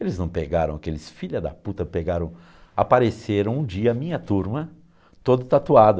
Eles não pegaram aqueles filha da puta, pegaram... Apareceram um dia a minha turma toda tatuada.